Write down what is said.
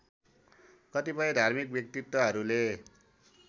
कतिपय धार्मिक व्यक्तित्वहरूले